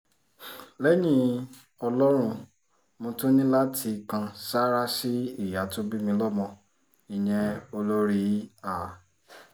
lẹ́yìn ọlọ́run mo tún ní láti kan sáárá sí ìyá tó bí mi lọ́mọ ìyẹn olórí a